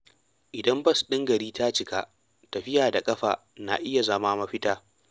Idan bas ɗin gari ta cika, tafiya da ƙafa na iya zama mafita.